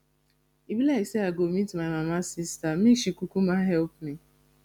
e be like say i go meet my mama sister make she kukuma help me